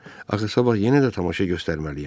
Axı sabah yenə də tamaşa göstərməliyəm.